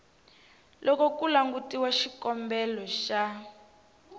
loko ku langutiwa xikombelo xa